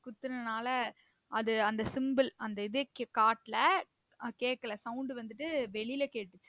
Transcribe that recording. குத்துனனால அது அந்த symbol அந்த இதே காட்ல கேக்கல sound வந்திட்டு வெளில கேட்டுச்சு